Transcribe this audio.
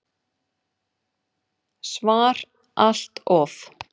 SVAR Allt of.